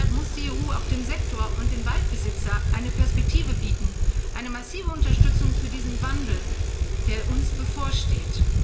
Deshalb muss die EU auch dem Sektor und den Waldbesitzern eine Perspektive bieten eine massive Unterstützung für diesen Wandel, der uns bevorsteht.